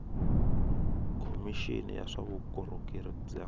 khomixini ya swa vukorhokeri bya